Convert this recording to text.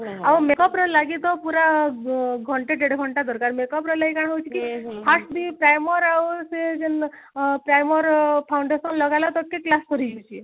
ଆଉ makeup ରେ ଲାଗି ତ ପୁରା ଘଣ୍ଟେ ଦେଢ ଘଣ୍ଟେ ଦରକାର makeup ଲାଗି କାଣ ହଉଛି କି first ବି primer ଆଉ ସେ ଯୋଉ ଆଁ primer foundation ଲଗାଲେ ତକ କି class ସରି ଯାଉଛି